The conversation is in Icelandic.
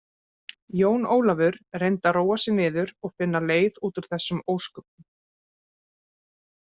Jón Ólafur reyndi að róa sig niður og finna leið út úr þessum ósköpum.